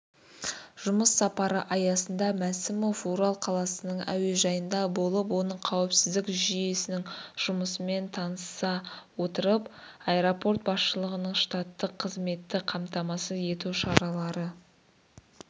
жұмыс сапары аясында мәсімов орал қаласының әуежайында болып оның қауіпсіздік жүйесінің жұмысымен таныса отырып аэропорт басшылығының штаттық қызметті қамтамасыз ету шаралары